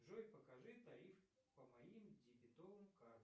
джой покажи тариф по моим дебетовым картам